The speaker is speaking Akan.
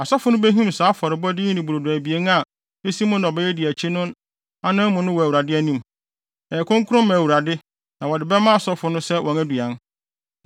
Asɔfo no behim saa afɔrebɔde yi ne brodo abien a esi mo nnɔbae a edi akyi no anan mu no wɔ Awurade anim. Ɛyɛ kronkron ma Awurade na wɔde bɛma asɔfo no sɛ wɔn aduan.